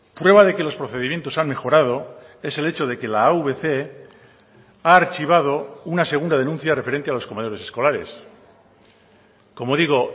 prueba de que los procedimientos han mejorado es el hecho de que la avc ha archivado una segunda denuncia referente a los comedores escolares como digo